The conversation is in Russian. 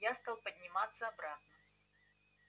я стал подниматься обратно